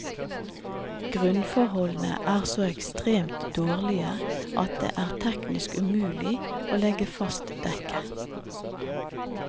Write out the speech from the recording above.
Grunnforholdene er så ekstremt dårlige at det er teknisk umulig å legge fast dekke.